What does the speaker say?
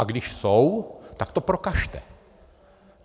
A když jsou, tak to prokažte.